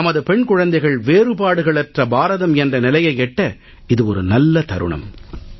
நமது பெண் குழந்தைகள் வேறுபாடுகளற்ற பாரதம் என்ற நிலையை எட்ட இது ஒரு நல்ல தருணம்